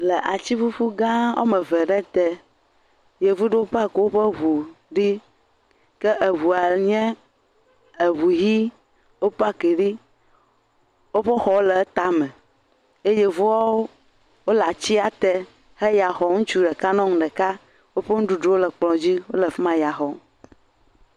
Le atiƒuƒu gã woame eve aɖewo te, Yevu ɖewo park woƒe ŋu ɖi ke eŋua nye eŋu yi, wo park ɖi, woƒe xɔwo le etame eye yevuawo le atia te wole yaxɔm, ŋutsu ɖeka nyɔnu ɖeka woƒe nuɖuɖuwo le kplɔ dzi wo le ya xɔm.